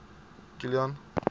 kilian